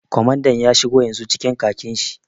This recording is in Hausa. Kwamandan ya shigo yanzu cikin khakin shi